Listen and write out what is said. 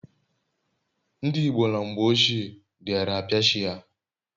ndi igbo na mgbe ochie diara apia chi ha